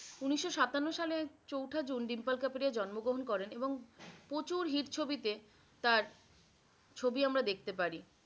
উনিশশ সাতান্ন সালে চৌঠা জুন ডিম্পল কাবাডিয়া জন্ম গ্রহন করেন এবং প্রচুর hit ছবি তে তার ছবি আমরা দেখতে পারি